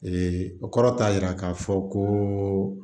o kɔrɔ t'a yira k'a fɔ ko